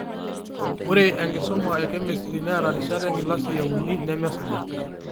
Ore enkisuma ekemistri neeta rishat enkilasi einu, nemesuja